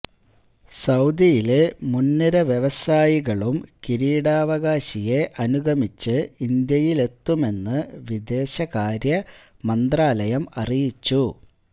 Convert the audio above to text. സൌദിയിലെ മുന്നിര വ്യവസായികളും കിരീടാവകാശിയെ അനുഗമിച്ച് ഇന്ത്യയിലെത്തുമെന്ന് വിദേശകാര്യ മന്ത്രാലയം അറിയിച്ചു